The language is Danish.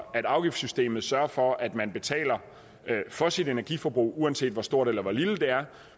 at afgiftssystemet sørger for at man betaler for sit energiforbrug uanset hvor stort eller lille det er